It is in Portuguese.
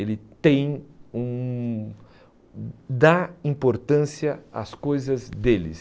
Ele tem um... dá importância às coisas deles.